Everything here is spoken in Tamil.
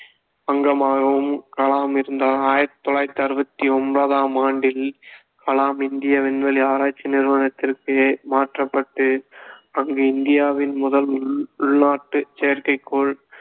அங்கமாகவும் கலாம் இருந்தார் ஆயிரத்தி தொள்ளாயிரத்தி அறுபத்தி ஒன்பதாம் ஆண்டில் கலாம் இந்திய விண்வெளி ஆராய்ச்சி நிறுவனத்திற்கு மாற்றப்பட்டு அங்கு இந்தியாவின் முதல் உள்~ உள்நாட்டு செயற்கைக்கோள்